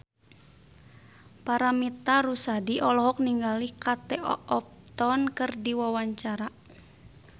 Paramitha Rusady olohok ningali Kate Upton keur diwawancara